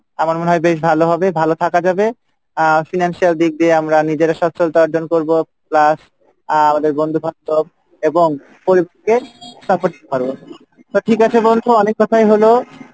আমার মনে হয় বেশ ভালো হবে ভালো থাকা যাবে আহ financial দিক দিয়ে আমরা নিজেরা সচলত্যা অর্জন করবো plus আহ আমাদের বন্ধুবান্ধব এবং পরিবারকে support করতে পারবো তো ঠিক আছে বন্ধু অনেক কথাই হলো,